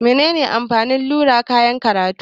Menene amfanin rula a kayan karatu?